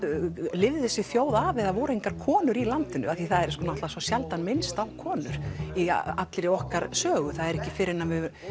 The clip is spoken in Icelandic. lifði þessi þjóð af ef það voru engar konur í landinu því það er svo sjaldan minnst á konur í allri okkar sögu það er ekki fyrr en